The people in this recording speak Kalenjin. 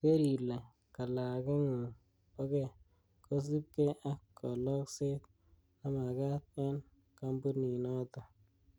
Keer ile kalageng'ung bo ge, kosiibige ak kolosket nemakat en kompuninoton.